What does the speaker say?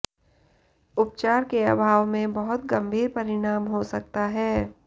उपचार के अभाव में बहुत गंभीर परिणाम हो सकता है